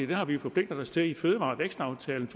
det har vi jo forpligtet os til i fødevarevækstaftalen